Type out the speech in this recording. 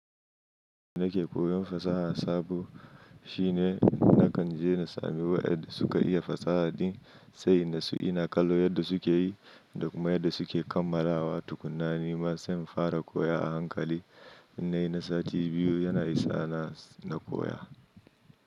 Nake koyon fasaha sabo shine nakan je na sami wa yanda suka iya fasaha din, sai in natsu ina kallo yadda suke yi da kuma yadda suke kammalawa tukkuna ai Nima sai in fara koya a hankali. Innai na sati biyu yana isa na koya.